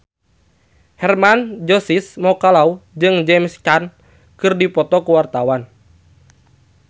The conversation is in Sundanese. Hermann Josis Mokalu jeung James Caan keur dipoto ku wartawan